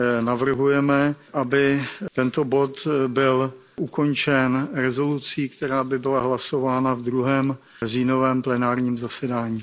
navrhujeme, aby tento bod byl ukončen rezolucí, která by byla hlasována na druhém říjnovém plenárním zasedání.